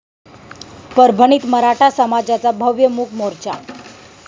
परभणीत मराठा समाजाचा भव्य मूक मोर्चा